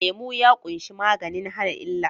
Lemu ya ƙunshi maganin hana illa